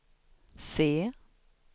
se